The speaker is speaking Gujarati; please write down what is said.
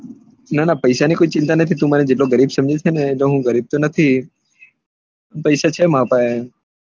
ના ના પૈસા કોઈ ચિંતા નથી તું મને જેટલો ગરીબ સમજે તેટલું હું ગરીબ નથી પૈસા છે મારા પાહે